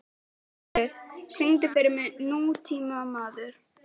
Mundheiður, syngdu fyrir mig „Nútímamaður“.